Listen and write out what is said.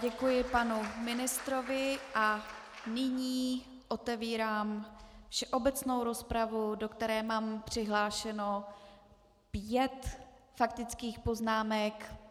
Děkuji panu ministrovi a nyní otevírám obecnou rozpravu, do které mám přihlášeno pět faktických poznámek.